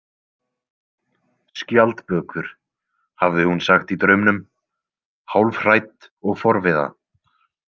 Skjaldbökur, hafði hún sagt í draumnum, hálfhrædd og forviða.